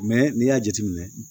n'i y'a jateminɛ